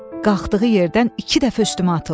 Qalxdığı yerdən iki dəfə üstümə atıldı.